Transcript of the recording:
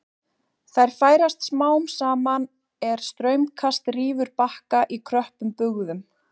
Þær færast smám saman er straumkast rýfur bakka í kröppum bugðum.